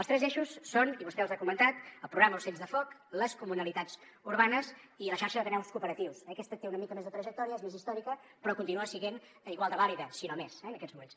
els tres eixos són i vostè els ha comentat el programa ocells de foc les comunalitats urbanes i la xarxa d’ateneus cooperatius aquesta té una mica més de trajectòria és més històrica però continua sent igual de vàlida si no més en aquests moments